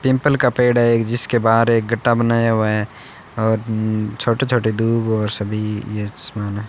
Pimple का पेड़ है जिसके बाहर एक गट्टा बनाया हुआ है और छोटे छोटे और सभी सामान है।